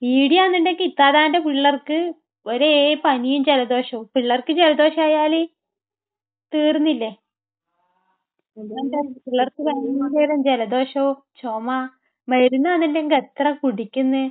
ഇവിടെയാണെന്നുണ്ടെങ്കിൽ ഇത്താത്താടെ പിള്ളേർക്ക് ഒരേ പനിയും ജലദോഷവും. പിള്ളേർക്ക് ജലദോഷമായാൽ തീർന്നില്ലേ. പിള്ളേർക്ക് ഭയങ്കര ജലദോഷം, ചുമ. മരുന്നാണെങ്കിൽ എത്ര കുടിക്കുന്ന്.